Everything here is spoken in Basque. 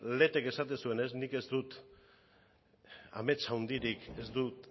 letek esaten zuenez nik ez dut amets handirik ez dut